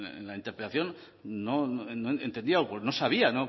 en la interpelación no entendía no sabía